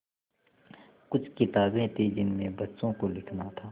कुछ किताबें थीं जिनमें बच्चों को लिखना था